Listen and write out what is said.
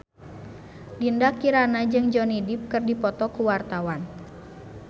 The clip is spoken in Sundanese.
Dinda Kirana jeung Johnny Depp keur dipoto ku wartawan